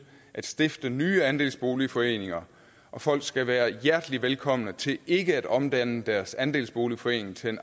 at stifte nye andelsboligforeninger og folk skal være hjertelig velkomne til ikke at omdanne deres andelsboligforening til